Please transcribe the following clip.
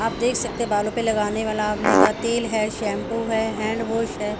आप देख सकते है बालों पे लगाने वाला आंवले का तेल है शैम्पू है हैंडवॉश है।